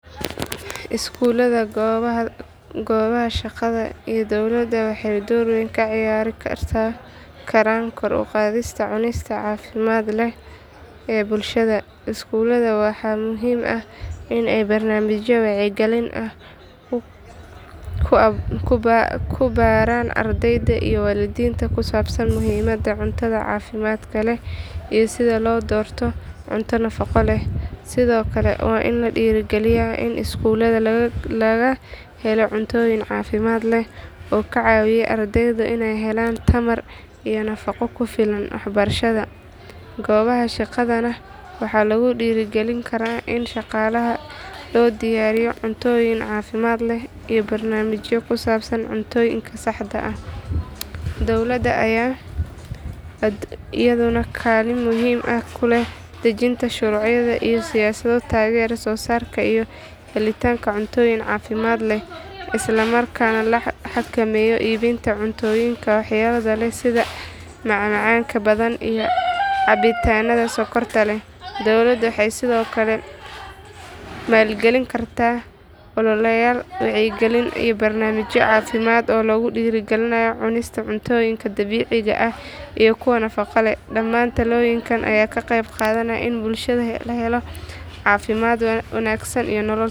Iskuulada, goobaha shaqada iyo dowladda waxay door weyn ka ciyaari karaan kor u qaadista cunista caafimaadka leh ee bulshada. Iskuulada waxaa muhiim ah in ay barnaamijyo wacyigelin ah ku baraan ardayda iyo waalidiinta ku saabsan muhiimadda cuntada caafimaadka leh iyo sida loo doorto cunto nafaqo leh. Sidoo kale waa in la dhiirrigeliyaa in iskuulada laga helo cuntooyin caafimaad leh oo ka caawiya ardayda inay helaan tamar iyo nafaqo ku filan waxbarashada. Goobaha shaqadana waxaa lagu dhiirrigelin karaa in shaqaalaha loo diyaariyo cuntooyin caafimaad leh iyo barnaamijyo ku saabsan cuntooyinka saxda ah. Dowladda ayaa iyaduna kaalin muhiim ah ku leh dejinta shuruuc iyo siyaasado taageera soosaarka iyo helitaanka cuntooyin caafimaad leh, isla markaana la xakameeyo iibinta cuntooyinka waxyeellada leh sida macmacaanka badan iyo cabitaanada sonkorta leh. Dawladdu waxay sidoo kale maalgelin kartaa ololeyaal wacyigelin iyo barnaamijyo caafimaad oo lagu dhiirrigelinayo cunista cuntooyinka dabiiciga ah iyo kuwa nafaqada leh. Dhammaan tallaabooyinkan ayaa ka qayb qaadanaya in bulshada la helo caafimaad wanaagsan iyo nolol tayo leh.